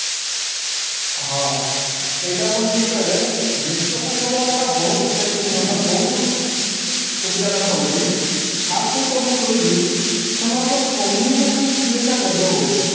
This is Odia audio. ହଁ ଏଇଟା ପୁଣି ଠିକ କହିଲେ discussion କରିବା ଦ୍ଵାରା ବହୁତ ମାନେ ବହୁତ ସୁବିଧା ତାଙ୍କର ହଉଛି first ତ ମୁଁ କହିବି ସେମାନଙ୍କର communication skill ଟା develop ହଉଛି